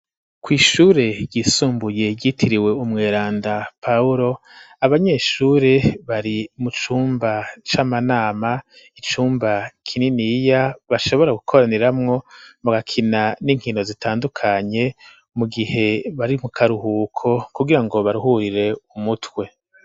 Kw'ishure ryisumbuye yitiriwe umweranda pahulo abanyeshure bari mu cumba c'amanama icumba kininiya bashobora gukoraniramwo mu gakina n'inkino zitandukanye mu gihe bari mu karuhuko kugira ngo baruhurire umutwe.